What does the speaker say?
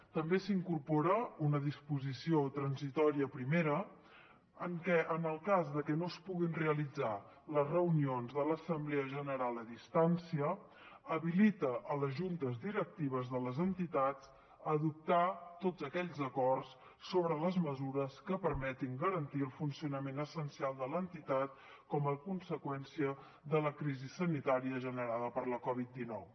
també s’incorpora una disposició transitòria primera en què en el cas que no es puguin realitzar les reunions de l’assemblea general a distància habilita les juntes directives de les entitats a adoptar tots aquells acords sobre les mesures que permetin garantir el funcionament essencial de l’entitat com a conseqüència de la crisi sanitària generada per la covid dinou